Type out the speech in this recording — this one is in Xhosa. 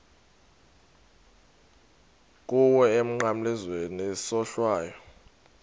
kuwe emnqamlezweni isohlwayo